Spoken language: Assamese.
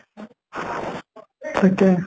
তাকে